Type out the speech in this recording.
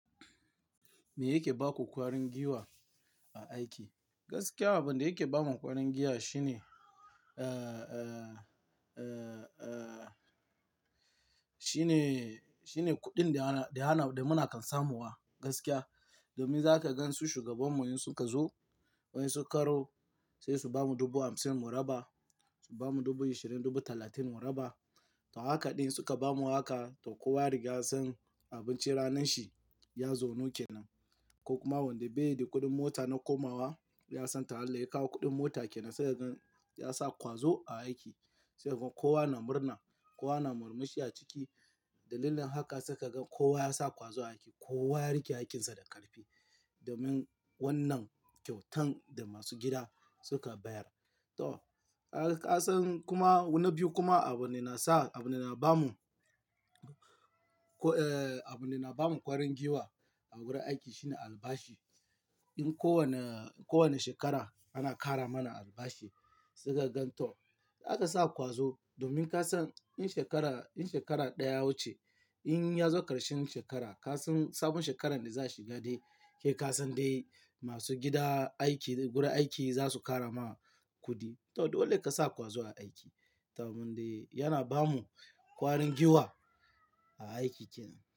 Me yake ba ku ƙwarin giwa a aiki? Gaskiya abin da yake bamu ƙwarin giwa shine, ah, ah, ah, ah, shine, shine kuɗin da ana, da muna kan samuwa gaskiya. Domin za ka gan su shugabanmu in suka zo, wai su karo sai su bamu dubu hamsin muraba, su bamu dubu ashirin, dubu talatin muraba. To haka ɗin suka bamu haka, to kowa yariga san abincin ranar shi ya zau nuke nan. Ko kuma wanda bai yi da kuɗin mota na komawa ya san tahala ya kawo kuɗin mota kenan sai ka gan ya sa ƙwazo a aiki. Sai kuma kowa na murna, kowa na murmushi a ciki. Dalilin haka saika gan kowa ya sa ƙwazo a aiki, kowa ya riƙe aikinsa da ƙarfi domin wannan kyautan da masu gida suka bayar. To, ka san kuma wani biyu kuma abin da na sa, abin da na bamu, ko, eh, abin da na bamu ƙwarin giwa a wurin aiki shine albashi. In kowane, kowane shekara ana ƙara mana albashi sai ka gan to aka sa ƙwazo domin ka san in shekara, in shekara ɗaya wuce, in ya zo ƙarshen shekara ka san sabon shekarar da za su gade ke ka san dai masu gida aiki wurin aiki za su ƙara ma kuɗi. To dole ka sa ƙwazo a aiki domin dai yana ba mu ƙwarin giwa a aiki kenan.